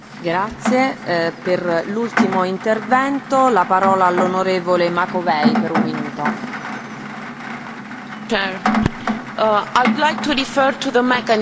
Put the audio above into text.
Madam President, I would like to refer to the mechanism to assess corruption in the Member States the mechanism that is provided for in the action plan.